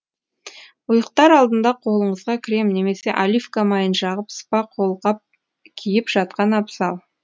ұйықтар алдында қолыңызға крем немесе оливка майын жағып спа қолғап киіп жатқан абзал